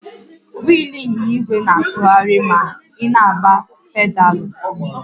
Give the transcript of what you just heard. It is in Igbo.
Wịịlụ ịnyịnya ìgwè na-atụgharị ma ị na-agba pedaalụ?